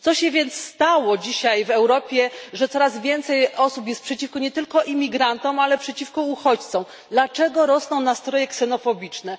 Co się więc stało dzisiaj w Europie, że coraz więcej osób jest przeciwko nie tylko imigrantom, ale przeciwko uchodźcom? Dlaczego rosną nastroje ksenofobiczne?